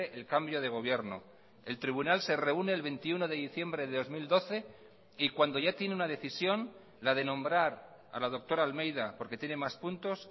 el cambio de gobierno el tribunal se reúne el veintiuno de diciembre de dos mil doce y cuando ya tiene una decisión la de nombrar a la doctora almeida porque tiene más puntos